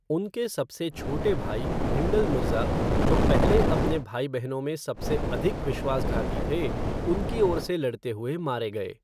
उनके सबसे छोटे भाई, हिंडल मिर्ज़ा, जो पहले अपने भाई बहनों में सबसे अधिक विश्वासघाती थे, उनकी ओर से लड़ते हुए मारे गए।